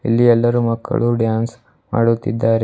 ಇಲ್ಲಿ ಎಲ್ಲರೂ ಮಕ್ಕಳು ಡ್ಯಾನ್ಸ್ ಆಡುತ್ತಿದ್ದಾರೆ.